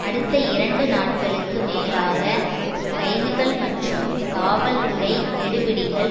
அடுத்த இரண்டு நாட்களுக்கு மேலாக கைதுகள் மற்றும் காவல்துறை கெடுபிடிகள்